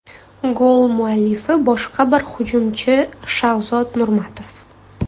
Gol muallifi boshqa bir hujumchi Shahzod Nurmatov.